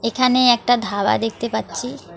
এখানে একটা ধাবা দেখতে পাচ্ছি।